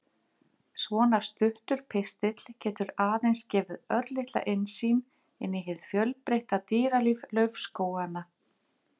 Svona stuttur pistill getur aðeins gefið örlitla innsýn inn í hið fjölbreytta dýralíf laufskóganna.